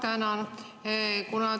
Ma tänan!